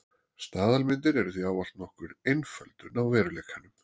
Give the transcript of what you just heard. Staðalmyndir eru því ávallt nokkur einföldun á veruleikanum.